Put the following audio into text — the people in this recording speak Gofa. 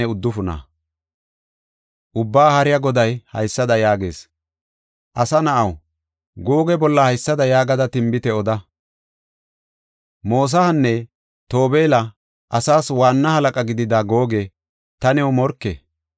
Ubbaa Haariya Goday haysada yaagees: “Asa na7aw, Googe bolla haysada yaagada tinbite oda. Mosahanne Tobeela asaas waanna halaqa gidida Googe, ta new morke.